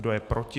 Kdo je proti?